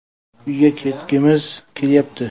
Uyga ketgimiz kelyapti.